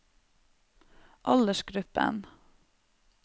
aldersgruppen